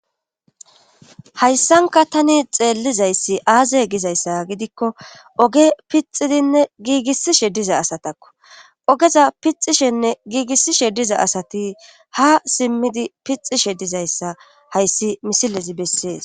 hayssanka tani xeellizayssi aaze gizayssa gidikko oge pixidinne giigissishe diza asatakko ogeza pixishenne giigissishe diza asati ha simmidi pixishe dizayssa hayssi misilezi bessees.